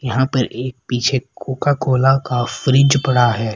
यहां पर एक पीछे कोका कोला का फ्रिज पड़ा है।